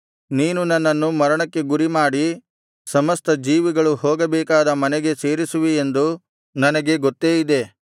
ನೀನು ನನ್ನನ್ನು ಮರಣಕ್ಕೆ ಗುರಿಮಾಡಿ ಸಮಸ್ತ ಜೀವಿಗಳು ಹೋಗಬೇಕಾದ ಮನೆಗೆ ಸೇರಿಸುವಿಯೆಂದು ನನಗೆ ಗೊತ್ತೇ ಇದೆ